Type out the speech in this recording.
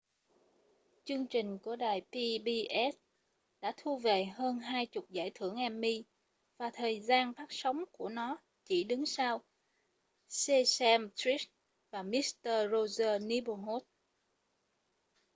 chương trình của đài pbs đã thu về hơn hai chục giải thưởng emmy và thời gian phát sóng của nó chỉ đứng sau sesame street và mister rogers' neighborhood